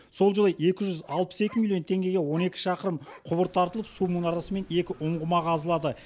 сол жылы екі жүз алпыс екі миллион теңгеге он екі шақырым құбыр тартылып су мұнарасы мен екі ұңғыма қазылады